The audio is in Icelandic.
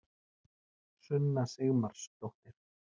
sunna sigmarsdóttir